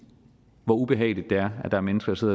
hvor ubehageligt det er at der er mennesker som